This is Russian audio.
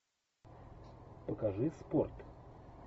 покажи спорт